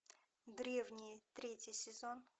древние третий сезон